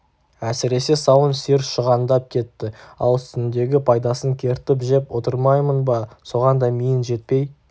әсіресе сауын сиыр шығандап кетті ал үстіндегі пайдасын кертіп жеп отырмаймын ба соған да миың жетпей